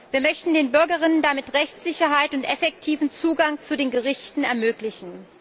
Wir möchten den Bürgerinnen und Bürgern damit Rechtssicherheit und effektiven Zugang zu den Gerichten ermöglichen.